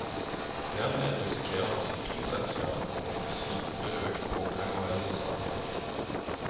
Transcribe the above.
Dermed risikerer forsikringsselskapene å måtte slite med økt pågang av eldre saker.